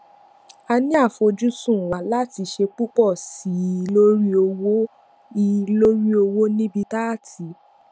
a ní àfojúsùn wa láti ṣe púpò sí i lórí òwò i lórí òwò níbi tá a ti